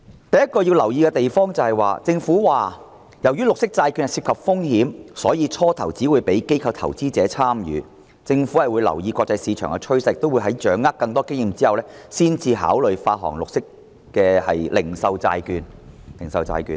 第一個要留意的地方是，政府表示，由於綠色債券涉及風險，因此最初只會讓機構投資者參與；政府會留意國際市場趨勢，並在掌握更多經驗後，才考慮發行零售綠色債券。